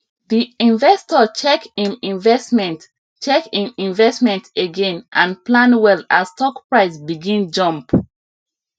di investor check im investment check im investment again and plan well as stock price begin jump